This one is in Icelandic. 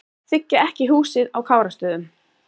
Þiggja ekki húsið á Kárastöðum